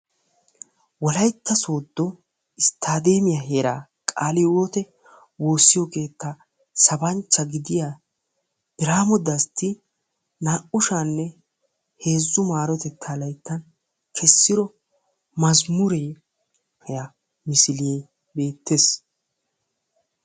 wolaytta sooddo isttadeemiyaa heeraan kaale hiwootte woossiyo keetta sabanchcha gidiya biramo dastti naa'u sha'anne heezzu marotetta layttan kessido mazamuree misile beettees.